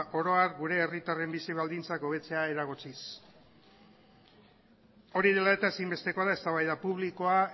oro har gure herritarren bizi baldintzak hobetzea eragotziz hori dela eta ezinbestekoa da eztabaida publikoa